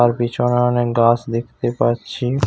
তার পিছনে অনেক গাছ দেখতে পাচ্ছি-ই।